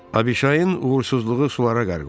"Aşbışayın uğursuzluğu sulara qərq olub."